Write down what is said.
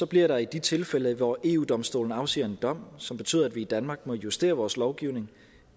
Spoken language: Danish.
bliver der i de tilfælde hvor eu domstolen afsiger en dom som betyder at vi i danmark må justere vores lovgivning